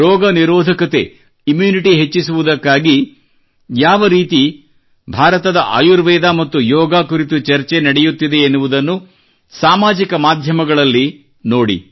ರೋಗ ನಿರೋಧಕತೆ ಇಮ್ಯುನಿಟಿ ಹೆಚ್ಚಿಸುವುದಕ್ಕಾಗಿ ಯಾವ ರೀತಿ ಭಾರತದ ಆಯುರ್ವೇದ ಮತ್ತು ಯೋಗ ಕುರಿತು ಚರ್ಚೆ ನಡೆಯುತ್ತಿದೆ ಎನ್ನುವುದನ್ನು ಸಾಮಾಜಿಕ ಮಾಧ್ಯಮದಲ್ಲಿ ಸೋಶಿಯಲ್ ಮೀಡಿಯಾ ನೋಡಿ